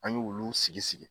An ɲ'olu sigi sigi.